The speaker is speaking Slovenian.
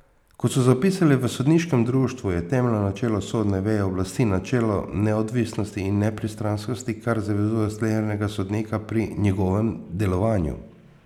Kot so zapisali v sodniškem društvu, je temeljno načelo sodne veje oblasti načelo neodvisnosti in nepristranskosti, kar zavezuje slehernega sodnika pri njegovem delovanju.